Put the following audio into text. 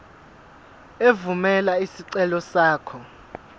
evumela isicelo sakho